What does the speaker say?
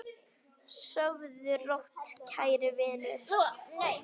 Sofðu rótt, kæri vinur.